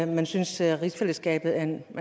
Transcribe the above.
man synes at rigsfællesskabet er